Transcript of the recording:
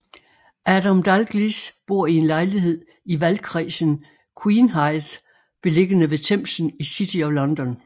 Adam Dalgliesh bor i en lejlighed i valgkredsen Queenhithe beliggende ved Themsen i City of London